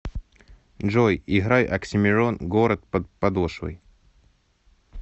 джой играй оксимирон город под подошвой